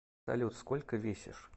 салют сколько весишь